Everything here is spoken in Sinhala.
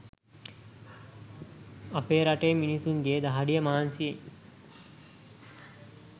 අපේ රටේ මිනිස්සුන්ගේ දහඩිය මහන්සියෙන්